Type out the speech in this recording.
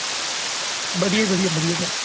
ਵਧੀਆਂ ਵਧੀਆਂ sir